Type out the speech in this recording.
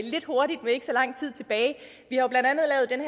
lidt hurtigt med ikke så lang tid tilbage